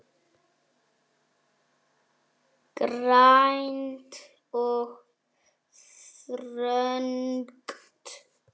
Grænt og þröngt.